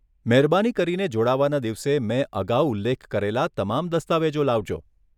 મહેરબાની કરીને જોડાવાના દિવસે મેં અગાઉ ઉલ્લેખ કરેલા તમામ દસ્તાવેજો લાવજો.